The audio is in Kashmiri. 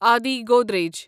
آدی گودریج